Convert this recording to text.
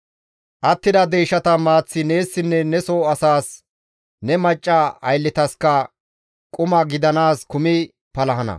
Attida deyshata maaththi neessinne ne soo asas, ne macca aylletaskka quma gidanaas kumi palahana.